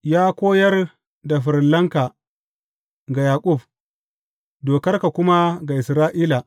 Ya koyar da farillanka ga Yaƙub, dokarka kuma ga Isra’ila.